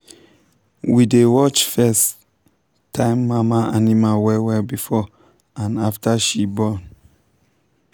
we dey watch first-time mama animal well well before and after she she born.